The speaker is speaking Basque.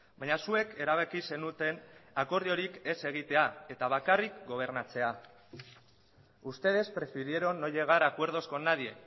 baina zuek erabaki zenuten akordiorik ez egitea eta bakarrik gobernatzea ustedes prefirieron no llegar a acuerdos con nadie